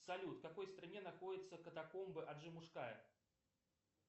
салют в какой стране находятся катакомбы аджимушкая